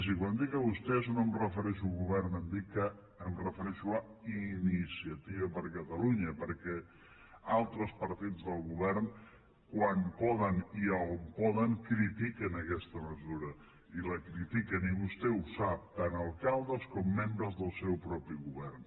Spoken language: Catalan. i quan dic a vostès no em refereixo al govern em refereixo a iniciativa per catalunya perquè altres partits del govern quan poden i on poden critiquen aquesta mesura i la critiquen i vostè ho sap tant alcaldes com membres del seu propi govern